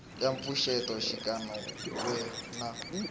ya mpfuxeto xikan we na